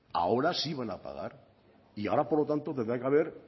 ahora sí van a pagar y ahora por lo tanto tendrá que haber